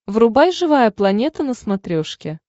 врубай живая планета на смотрешке